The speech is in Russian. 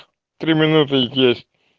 три минуты есть